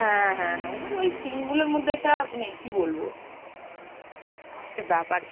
হ্যাঁ হ্যাঁ হ্যাঁ ওগুলো ওই scene গুলোর মধ্যে একটা মানে কি বলবো একটা ব্যাপার